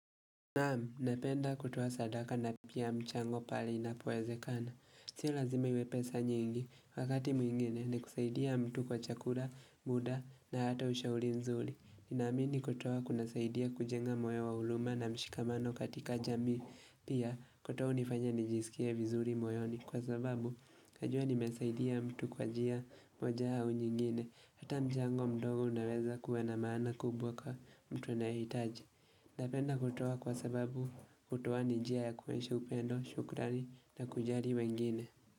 Naam, napenda kutoa sadaka na pia mchango pale inapowezekana. Sio lazima iwe pesa nyingi, wakati mwingine ni kusaidia mtu kwa chakula, muda na hata ushauri nzuri. Ninaamini kutoa kuna saidia kujenga moyo wa huluma na mshikamano katika jamii. Pia, kutoa hunifanya nijisikie vizuri moyoni. Kwa sababu, najua nimesaidia mtu kwa njia moja au nyingine. Hata mchango mdogo unaweza kuwa na maana kubwa kwa mtu anaye hitaji. Napenda kutoa kwa sababu kutoa ni njia ya kuonyesha upendo, shukrani na kujali wengine.